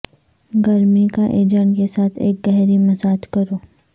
گرمی کا ایجنٹ کے ساتھ ایک گہری مساج کرو